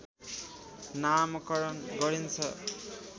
नामकरण गरिन्छ